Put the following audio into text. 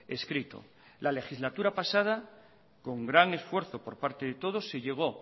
escrito la legislatura pasada con gran esfuerzo por parte de todos se llegó